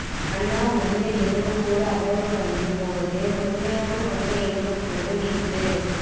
மன்னார் மனித எலும்புக்கூடு அகழ்வு பணியின் போது முழுமையான மனித எலும்புக்கூடு மீட்பு